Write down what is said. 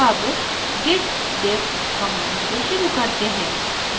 अब git diff command से शुरू करते हैं